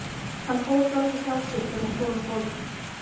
Hann fór dálítið hjá sér þegar hún fór úr bolnum.